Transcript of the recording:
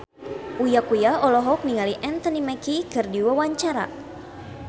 Uya Kuya olohok ningali Anthony Mackie keur diwawancara